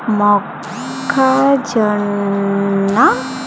మొక్క జొన్న .